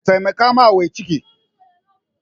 Taimaka wa mai ciki!